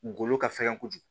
Golo ka fɛgɛn kojugu